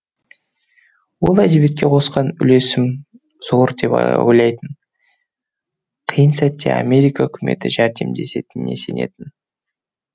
ол әдебиетке қосқан үлесім зор деп ойлайтын қиын сәтте америка үкіметі жәрдемдесетініне сенетін